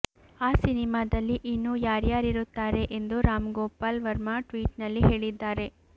ಆ ಸಿನಿಮಾದಲ್ಲಿ ಇನ್ನು ಯಾರ್ಯಾರಿರುತ್ತಾರೆ ಎಂದು ರಾಮ್ಗೋಪಾಲ್ ವರ್ಮಾ ಟ್ವೀಟ್ನಲ್ಲಿ ಹೇಳಿದ್ದಾರೆ